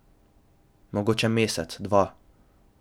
Mogoče mesec, dva.